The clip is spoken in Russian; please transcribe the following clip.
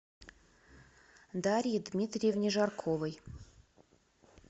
дарье дмитриевне жарковой